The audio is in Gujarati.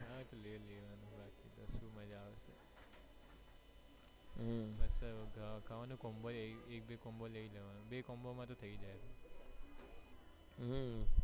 ક્યાં થી લઇ લેવાનું બાકી બોજ મજ્જા આવશે એક બે combo લઇ લેવાનું બે combo માં તો થઇ જાય